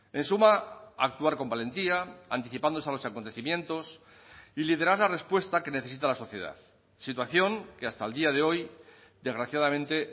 en suma a actuar con valentía anticipándose a los acontecimientos y liderar la respuesta que necesita la sociedad situación que hasta el día de hoy desgraciadamente